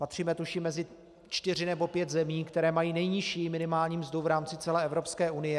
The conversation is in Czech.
Patříme tuším mezi čtyři nebo pět zemí, které mají nejnižší minimální mzdu v rámci celé Evropské unie.